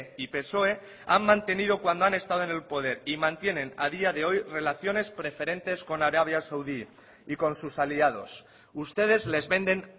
y psoe han mantenido cuando han estado en el poder y mantienen a día de hoy relaciones preferentes con arabia saudí y con sus aliados ustedes les venden